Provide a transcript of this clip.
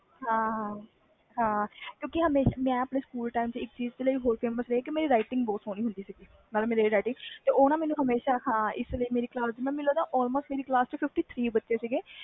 ਹਾਂ ਹਾਂ ਮੈਂ ਆਪਣੇ ਸਕੂਲ ਵਿਚ famous ਇਸ ਲਈ ਸੀ ਕਿਉਕਿ handwriting ਬਹੁਤ ਸਹੋਣੀ ਸੀ